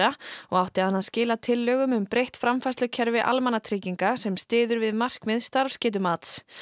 og átti hann að skila tillögum um breytt framfærslukerfi almannatrygginga sem styður við markmið starfsgetumat